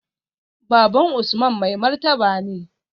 Baban Usman mai martaba ne